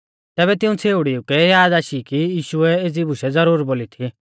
तैबै तिऊं छ़ेउड़ीऊ कै याद आशी कि यीशुऐ एज़ी बुशै ज़रूर बोली थी